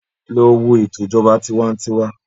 Lọ wo ètò ìjọba tiwańtiwa.